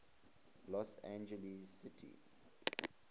los angeles city